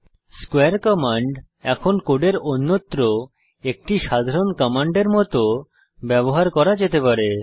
স্কোয়ারে কমান্ড এখন কোডের অন্যত্র একটি সাধারণ কমান্ডের মত ব্যবহার করা যেতে পারে